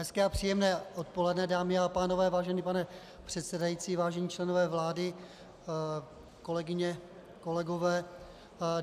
Hezké a příjemné odpoledne, dámy a pánové, vážený pane předsedající, vážení členové vlády, kolegyně, kolegové.